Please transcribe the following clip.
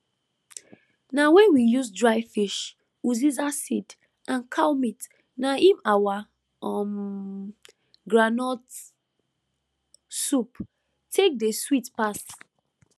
na wen we use dry fish uziza seed and cow meat na im our um groundnut soup take dey sweet pass